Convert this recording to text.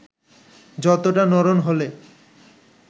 যতটা নড়ন হলে